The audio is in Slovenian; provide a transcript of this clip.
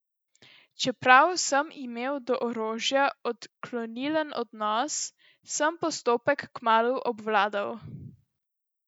Čeprav sem imel do orožja odklonilen odnos, sem postopek kmalu obvladal.